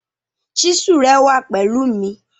Chísù rẹ wà pẹ̀lú mi.